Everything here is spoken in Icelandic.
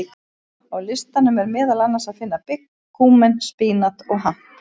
Á listanum er meðal annars að finna bygg, kúmen, spínat og hamp.